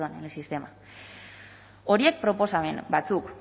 perdón en el sistema horiek proposamen batzuk